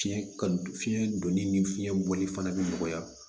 Fiɲɛ ka di fiɲɛ donni ni fiɲɛ bɔli fana bɛ nɔgɔya